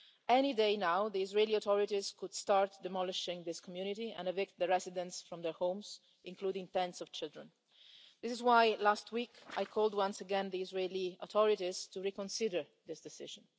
Any day now, the Israeli authorities could start demolishing this community and evict the residents from their homes, including parents and children. This is why last week I called once again on the Israeli authorities to reconsider this decision.